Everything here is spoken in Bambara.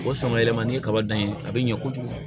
O sama yɛlɛma ni kaba dan ye a bɛ ɲɛ kojugu